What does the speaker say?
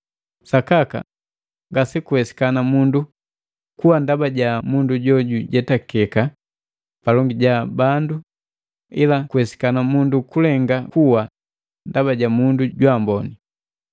Sakaka, ngasekuwesikana mundu kuwa ndaba ja mundu jo jujetakeka palongi ja bandu ila kuwesikana mundu kulenga kuwa ndaba ja mundu jwaamboni.